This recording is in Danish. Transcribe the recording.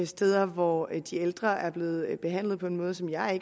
steder hvor de ældre er blevet behandlet på en måde som jeg